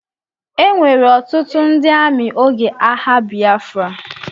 Ewere ọtụtụ ndị amị oge agha Bịafra.